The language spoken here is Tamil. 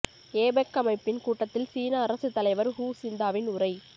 ஏபெக் அமைப்பின் கூட்டத்தில் சீன அரசுத் தலைவர் ஹு சிந்தாவின் உரை